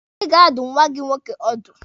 Ị ga-adụ nwa gị nwoke ọdụ!